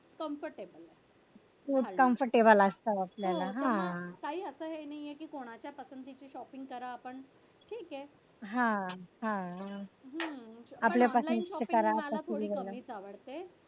comfortable हो काही असं हे नाहीये कि कोणाच्या पसंतीची shopping करा पण तिकडे हा हा पण online shopping मला थोडी कमीच आवडते.